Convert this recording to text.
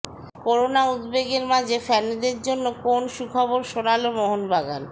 corona উদ্বেগের মাঝে ফ্যানেদের জন্য কোন সুখবর শোনাল মোহনবাগান